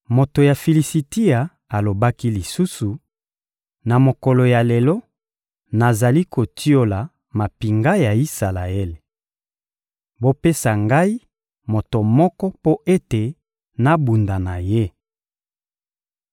Moto ya Filisitia alobaki lisusu: «Na mokolo ya lelo, nazali kotiola mampinga ya Isalaele. Bopesa ngai moto moko mpo ete nabunda na ye.»